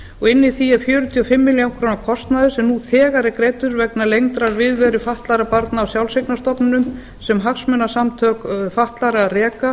og inni í því er fjörutíu og fimm milljónir króna kostnaður sem þegar er greiddur vegna lengdrar viðveru fatlaðra barna á sjálfseignarstofnunum sem hagsmunasamtök fatlaðra reka